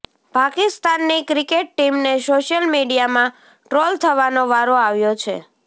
પાકિસ્તાનની ક્રિકેટ ટીમને સોશિયલ મીડિયામાં ટ્રોલ થવાનો વારો આવ્યો છે